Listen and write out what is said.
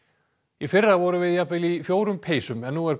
í fyrra vorum við jafnvel í fjórum peysum en nú er